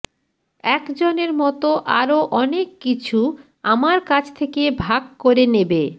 একজনের মত আরও অনেক কিছু আমার কাছ থেকে ভাগ করে নেবে